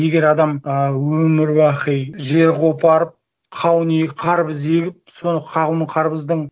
егер адам ы өмір бақи жер қопарып қауын егіп қарбыз егіп сол қауынның қарбыздың